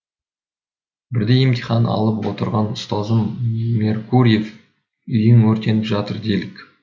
бірде емтихан алып отырған ұстазымыз меркурьев үйің өртеніп жатыр делік